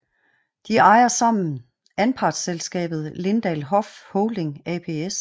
De ejer sammen anpartsselskabet Lindahl Hoff Holding ApS